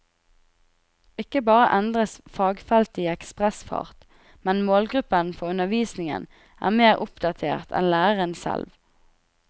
Ikke bare endres fagfeltet i ekspressfart, men målgruppen for undervisningen er mer oppdatert enn læreren selv.